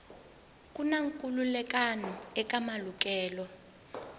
ku na nkhulukelano eka malukelo